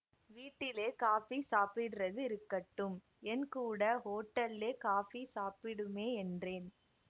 வீட்லே காப்பி சாப்பிடரது இருக்கட்டும் என் கூட ஹோட்டல்லே காப்பி சாப்பிடுமே என்றேன்